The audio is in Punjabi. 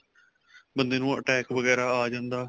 ਬੰਦੇ ਨੂੰ attack ਵਗੈਰਾ ਆ ਜਾਂਦਾ